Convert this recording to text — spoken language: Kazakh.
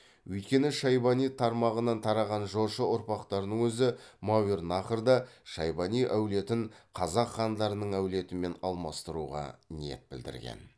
өйткені шайбани тармағынан тараған жошы ұрпақтарының өзі мәуернахрда шайбани әулетін қазақ хандарының әулетімен алмастыруға ниет білдірген